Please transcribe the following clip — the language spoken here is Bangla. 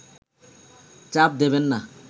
চাপ দেবেন না